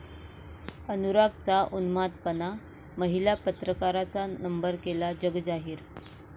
अनुरागचा उन्मादपणा, महिला पत्रकाराचा नंबर केला जगजाहीर